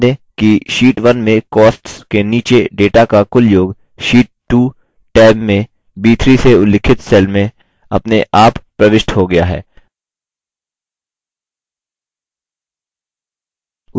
ध्यान दें कि sheet 1 में costs के नीचे data का कुल योग sheet 2 टैब में b3 से उल्लिखित cell में अपने आप प्रविष्ट हो गया है